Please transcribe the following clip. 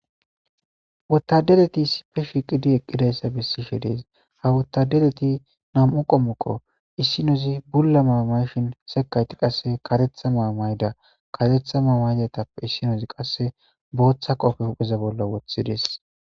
Wottadareti issipe shiqi eqidayissa she dessi ha wotadareti namu'u qommoko issinozi bulla mayo mayishini isinozi karetha mayo mayidda karetha mayo mayiddagatape issinozi botha qobbe wothidesi.